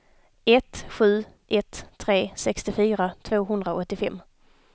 ett sju ett tre sextiofyra tvåhundraåttiofem